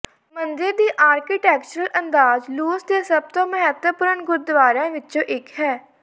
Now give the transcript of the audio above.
ਮੰਦਿਰ ਦੀ ਆਰਕੀਟੈਕਚਰਲ ਅੰਦਾਜ਼ ਲਾਓਸ ਦੇ ਸਭ ਤੋਂ ਮਹੱਤਵਪੂਰਣ ਗੁਰਦੁਆਰਿਆਂ ਵਿਚੋਂ ਇਕ ਹੈ